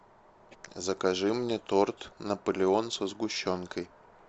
закажи мне торт наполеон со сгущенкой